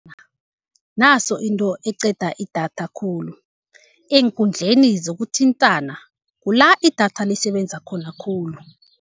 Naso into eqeda idatha khulu, eenkundleni zokuthintana kula idatha lisebenza khona khulu.